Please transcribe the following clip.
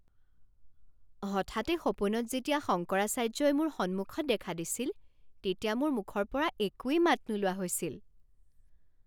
হঠাতে সপোনত যেতিয়া শংকৰাচাৰ্য্যই মোৰ সন্মুখত দেখা দিছিল তেতিয়া মোৰ মুখৰ পৰা একোৱেই মাত নোলোৱা হৈছিল।